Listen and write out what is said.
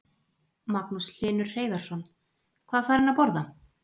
Magnús Hlynur Hreiðarsson: Hvað fær hann að borða?